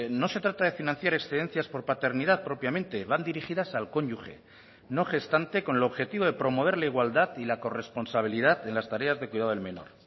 no se trata de financiar excedencias por paternidad propiamente van dirigidas al cónyuge no gestante con el objetivo de promover la igualdad y la corresponsabilidad en las tareas de cuidado del menor